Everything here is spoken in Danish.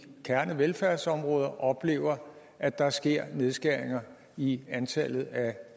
kernevelfærdsområderne oplever at der sker nedskæringer i antallet af